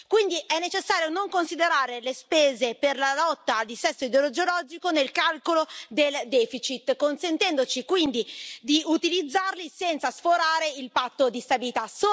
Quindi è necessario non considerare le spese per la lotta al dissesto idrogeologico nel calcolo del deficit, consentendoci quindi di utilizzare quei fondi senza sforare il Patto di stabilità.